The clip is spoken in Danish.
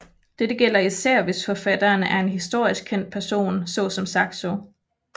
Dette gælder især hvis forfatteren er en historisk kendt person så som Saxo